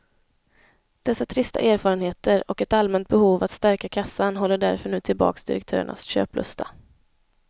Dessa trista erfarenheter och ett allmänt behov att stärka kassan håller därför nu tillbaks direktörernas köplusta.